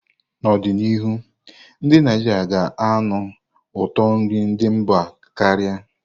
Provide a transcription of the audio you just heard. N'ọdịnihu, ndị Naijiria ga-anụ ụtọ nri ndị mba karia.